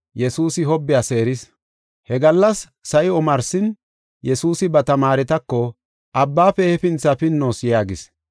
He gallas sa7i omarsin, Yesuusi ba tamaaretako, “Abbaafe hefinthi pinnoos” yaagis.